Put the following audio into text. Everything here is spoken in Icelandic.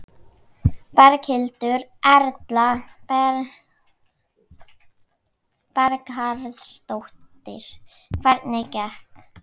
Berghildur Erla Bernharðsdóttir: Hvernig gekk?